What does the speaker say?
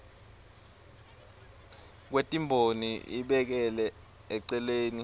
kwetimboni ibekele eceleni